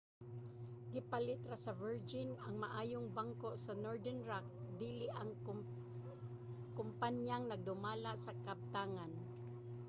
gipalit ra sa virgin ang 'maayong bangko' sa northern rock dili ang kompanyang nagdumala sa kabtangan